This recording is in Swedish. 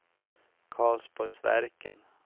Karlsborgsverken